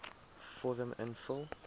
vorm invul